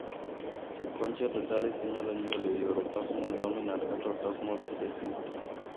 Leukonychia totalis inyalo nyuol e yor autosomal dominant kata autosomal recessive.